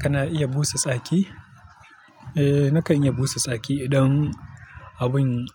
Kana iya busa tsaki? Eh, nakan iya busa tsaki idan abun